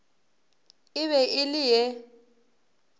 e be e le ye